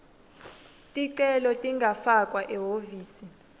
ticelo tingafakwa ehhovisi